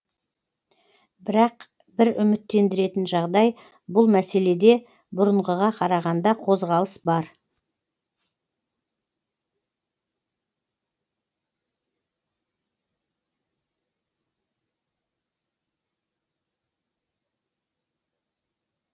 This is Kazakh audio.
бірақ бір үміттендіретін жағдай бұл мәселеде бұрынғыға қарағанда қозғалыс бар